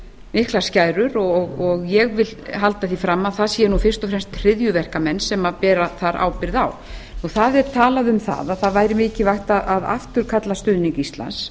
miklar skærur ég held því fram að það séu fyrst og fremst hryðjuverkamenn sem bera þar ábyrgð það er talað um að mikilvægt væri að afturkalla stuðning íslands